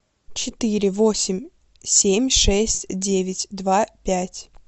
четыре восемь семь шесть девять два пять